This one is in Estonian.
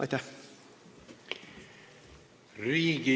Aitäh!